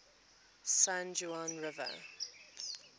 san juan river